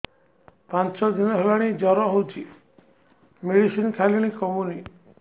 ପାଞ୍ଚ ଦିନ ହେଲାଣି ଜର ହଉଚି ମେଡିସିନ ଖାଇଲିଣି କମୁନି